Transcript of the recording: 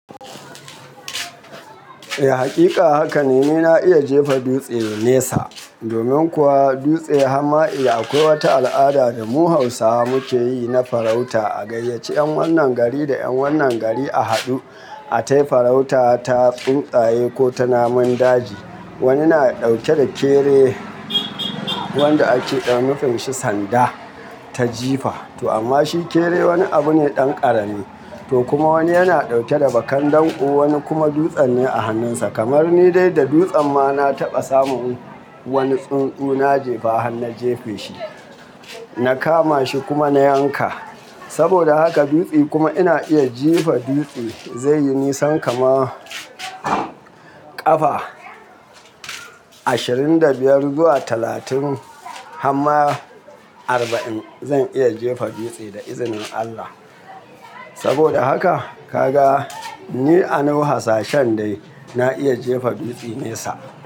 Eh, hakika haka ne. Ni na iya jefa dutse nesa. Domin kuwa dutse hama eh akwai wata al'ada da mu Hausawa muke yi na farauta. A gayyaci 'yan wannan gari da 'yan wannan gari a haɗu, a tayi farauta ta tsuntsaye ko ta namun daji. Wani na ɗauke da kere, wanda ake dan mafin shi sanda ta jifa. To amma shi kere wani abu ne ɗan ƙarami. To kuma wani yana dauke da bakan danƙo, wani kuma dutsen ne a hannunsa. Kamar ni dai da dutsen ma na taɓa samun wani tsuntsu na jefa han na jefe shi, na kama shi kuma na yanka. Saboda haka dutse kuma ina iya jefa dutse zai yi nisan kama ƙafa ashirin da biyar zuwa talatin. Hamma arba'in zan iya jefa dutse da izinin Allah. Saboda haka ka ga ni a naw hasashen dai na iya jefa dutse nesa.